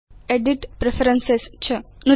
edit preferences च नदतु